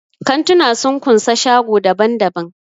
Kantuna sun kunsa shago daban-daban.